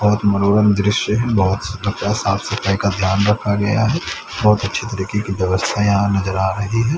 बहोत मनोरम दृश्य है बहोत साफ सफाई का ध्यान रखा गया है बहोत अच्छे तरीके की व्यवस्था यहां नज़र आ रही है।